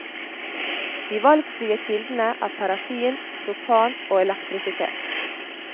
De valgfrie kildene er parafin, propan og elektrisitet.